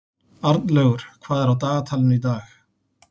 Arnlaugur, hvað er á dagatalinu í dag?